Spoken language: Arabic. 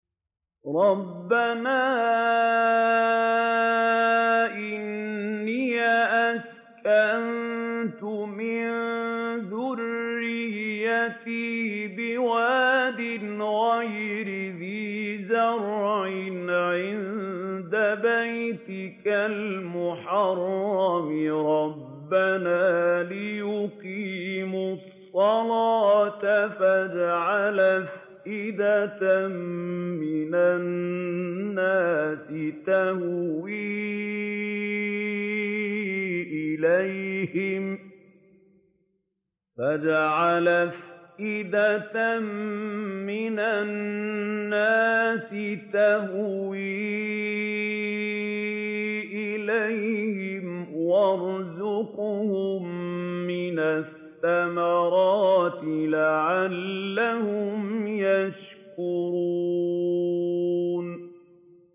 رَّبَّنَا إِنِّي أَسْكَنتُ مِن ذُرِّيَّتِي بِوَادٍ غَيْرِ ذِي زَرْعٍ عِندَ بَيْتِكَ الْمُحَرَّمِ رَبَّنَا لِيُقِيمُوا الصَّلَاةَ فَاجْعَلْ أَفْئِدَةً مِّنَ النَّاسِ تَهْوِي إِلَيْهِمْ وَارْزُقْهُم مِّنَ الثَّمَرَاتِ لَعَلَّهُمْ يَشْكُرُونَ